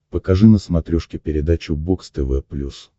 покажи на смотрешке передачу бокс тв плюс